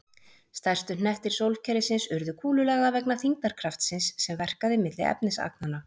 Stærstu hnettir sólkerfisins urðu kúlulaga vegna þyngdarkraftsins sem verkaði milli efnisagnanna.